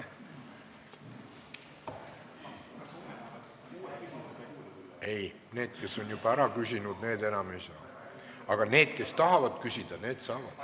Ei, need, kes on juba ära küsinud, need enam küsida ei saa, aga need, kes tahavad veel küsida, need saavad.